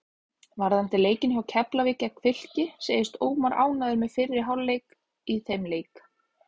Varðandi leikinn hjá Keflavík gegn Fylki segist Ómar ánægður með fyrri hálfleikinn í þeim leik.